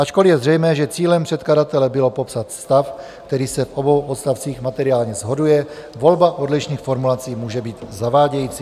Ačkoliv je zřejmé, že cílem předkladatele bylo popsat stav, který se v obou odstavcích materiálně shoduje, volba odlišných formulací může být zavádějící.